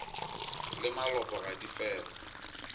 le malopo ga di fele